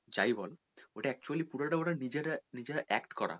যাই বল ওটা actually পুরোটা ওরা নিজেরা, নিজেরা act করা